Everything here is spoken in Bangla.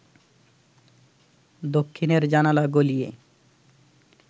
দক্ষিণের জানালা গলিয়ে